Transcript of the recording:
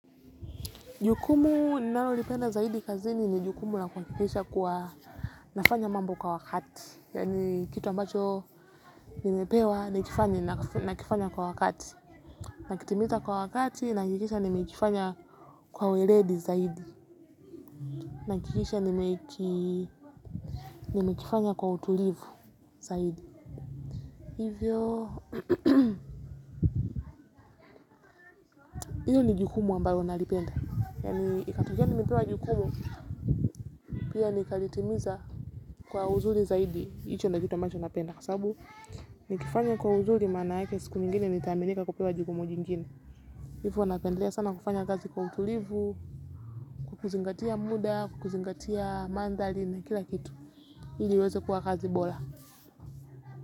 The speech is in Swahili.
Jukumu ninalo lipenda zaidi kazini ni jukumu la kuhakikisha kuwa nafanya mambo kwa wakati. Yaani kitu ambacho nimepewa nikifanya nakifanya kwa wakati. Nakitimiza kwa wakati nahakikisha nimekifanya kwa ueledi zaidi. Nahakikisha nimekifanya kwa utulivu zaidi. Hivyo, hiyo ni jukumu ambayo nalipenda. Yaani ikatokea nimepewa jukumu pia nikalitimiza kwa uzuri zaidi. Hicho ndio ambacho napenda kwasababu nikifanya kwa uzuri maana yake siku nyingine nitaminika kupewa jukumu jingine. Hivo napendelea sana kufanya kazi kwa utulivu. Kukuzingatia muda kukuzingatia mandhari na kila kitu ili iweze kuwa kazi bora.